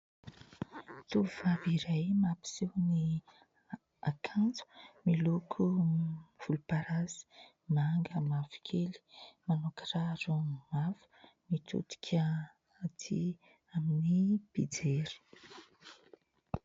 Tovovavy iray mampiseho ny akanjo miloko : volomparasy, manga, mavokely ; manao kiraro mavo. Mitodika atỳ amin'ny mpijery.